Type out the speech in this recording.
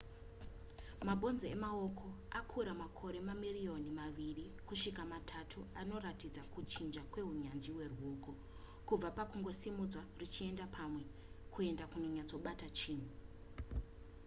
mabhonzo emaoko akura makore mamirioni maviri kusvika matatu anoratidza kuchinja kwehunyanzvi hweruoko kubva pakungosimudzwa ruchienda pamwe kuenda pakunyatsobata chinhu